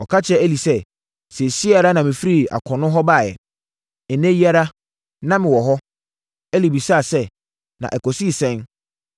Ɔka kyerɛɛ Eli sɛ, “Seesei ara na mefiri akono hɔ baeɛ. Nnɛ yi ara, na mewɔ hɔ.” Eli bisaa sɛ, “Na ɛkɔsii sɛn?”